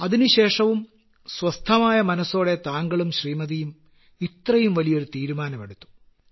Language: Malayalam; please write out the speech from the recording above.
അതിനുശേഷവും സ്വസ്ഥമായ മനസ്സോടെ താങ്കളും ശ്രീമതിയും ഇത്രയും വലിയൊരു തീരുമാനമെടുത്തു